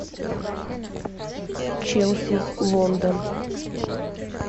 челси лондон